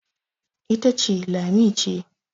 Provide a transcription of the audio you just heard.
ita ce Lami ce